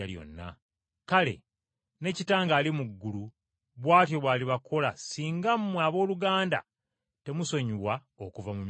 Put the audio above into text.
“Kale ne Kitange ali mu ggulu bw’atyo bw’alibakola singa mmwe abooluganda temusonyiwa okuva mu mitima gyammwe.”